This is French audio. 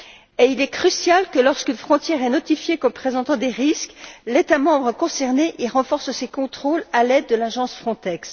Et il est crucial que, lorsqu'une frontière est notifiée comme présentant des risques, l'État membre concerné y renforce ses contrôles à l'aide de l'agence Frontex.